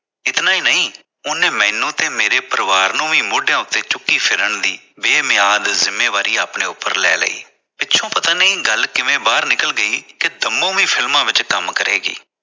ਇਤਨਾਂ ਹੀ ਨਹੀਂ ਉਸਨੇ ਮੈਨੂੰ ਤੇ ਮੇਰੇ ਪਰਿਵਾਰ ਨੂੰ ਵੀ ਮੋਢਿਆਂ ਉਤੇ ਚੁੱਕੀ ਫਿਰਨ ਲਈ ਜਿੰਮੇਵਾਰੀ ਆਪਣੇ ਉਪਰ ਲੈ ਲਈ ਪਿਛੋਂ ਪਤਾ ਨਹੀਂ ਗੱਲ ਕਿਵੇਂ ਬਾਹਰ ਨਿਕਲ ਗਈ ਕਿ ਕੰਮੋ ਵੀ ਫਿਲਮਾਂ ਵਿਚ ਕੰਮ ਕਰੇਗੀ।